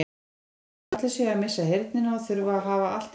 Eins og allir séu að missa heyrnina og þurfi að hafa allt í botni.